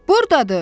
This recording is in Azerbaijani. Buradadır!